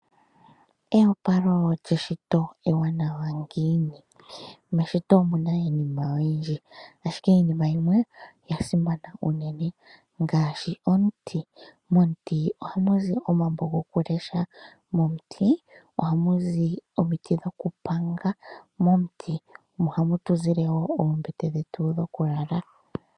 Eyopalo lyeshito ewanawa ngiini? Meshito omuna iinima oyindji ashike iinima yimwe oya simana uunene ngaashi omuti. Momuti ohamuzi omambo gokulesha, momuti ohamuzi omiti dhokupanga, momuti ohamutuzile wo oombete dhetu dhokulala.